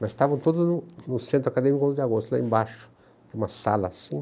Mas estavam todos no no Centro Acadêmico onze de Agosto, lá embaixo, numa sala assim.